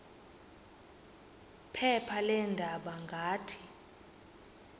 phepha leendaba ngathi